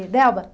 E Delba